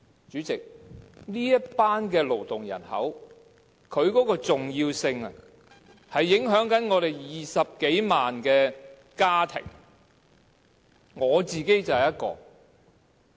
主席，這群勞動人口的重要性是影響着本港20多萬個家庭的。